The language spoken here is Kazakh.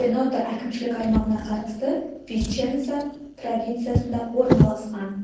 венето әкімшілік аймағына қарасты виченца провинциясында орналасқан